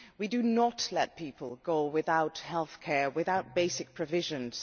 We do not let people go without healthcare or without basic provisions.